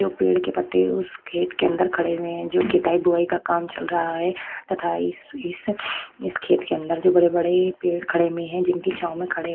जो पेड़ के पत्ते उस खेत के अंदर खड़े हुए है जो खेताई बुआई का काम चल रहा है तथा इस इस खेत के अंदर जो बड़े-बड़े पेड़ खड़े हुए है जिनकी छाँव में खड़े --